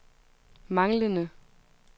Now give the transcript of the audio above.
manglende